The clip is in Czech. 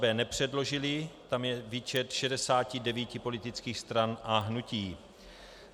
b) nepředložily - tam je výčet 69 politických stran a hnutí;